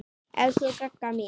Elsku Gagga mín.